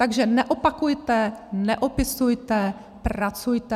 Takže neopakujte, neopisujte, pracujte!